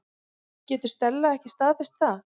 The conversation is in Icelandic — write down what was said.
Getur Stella ekki staðfest það?